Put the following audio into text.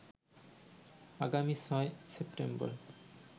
আগামী ৬ সেপ্টেম্বর